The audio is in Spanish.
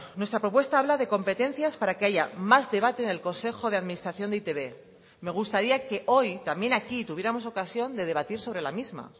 nuestra propuesta habla de competencias para que haya más debate en el consejo de administración de e i te be me gustaría que hoy también aquí tuviéramos ocasión de debatir sobre la misma